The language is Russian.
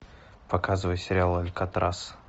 показывай сериал алькатрас